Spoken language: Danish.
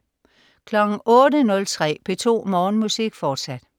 08.03 P2 Morgenmusik. Fortsat